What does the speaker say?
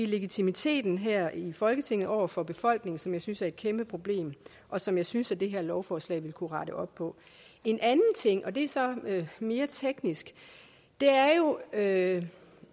legitimiteten her i folketinget over for befolkningen som jeg synes er et kæmpe problem og som jeg synes at det her lovforslag ville kunne rette op på en anden ting og det er så mere teknisk er at